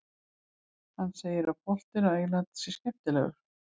Hann segir að boltinn á Englandi sé skemmtilegur.